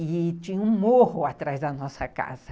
E tinha um morro atrás da nossa casa.